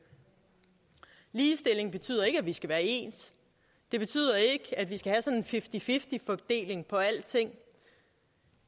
ligestilling betyder ikke at vi skal være ens det betyder ikke at vi skal have fifty fifty fordeling af alting